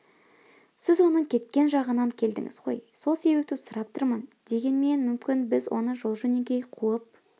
сіз оның кеткен жағынан келдіңіз ғой сол себепті сұрап тұрмын дегенмен мүмкін біз оны жол-жөнекей қуып